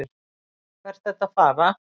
hvert ertu að fara?